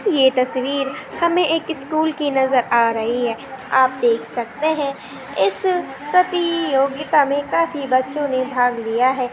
ये तस्वीर हमे एक स्कूल की नज़र आ रही है। आप देख सकते है इस प्रतियोगिता काफी बच्चो ने भाग लिया है।